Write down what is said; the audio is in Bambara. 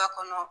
Da kɔnɔ